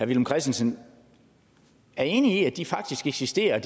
villum christensen er enig i i faktisk eksisterer og